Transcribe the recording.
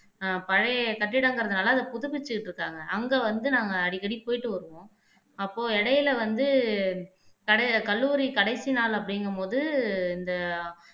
ஆஹ் பழைய கட்டிடங்கிறதுனால அத புதுப்பிச்சுட்டு இருக்காங்க அங்க வந்து நாங்க அடிக்கடி போயிட்டு வருவோம் அப்போ இடையில வந்து கடை கல்லூரி கடைசி நாள் அப்படிங்கும்போது இந்த